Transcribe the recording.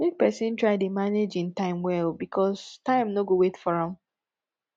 mek pesin try dey manage im time well bikos time no go wait for am